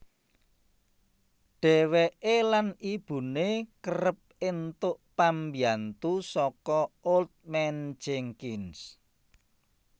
Dheweke lan ibune kereb entuk pambyantu saka Old Man Jenkins